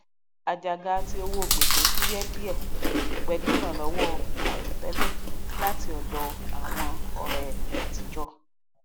àjàgà tí owó gbésẹ fuye díè pẹlú ìrànlọwọ àìròtélè láti ọdọ àwọn ọrẹ àtijọ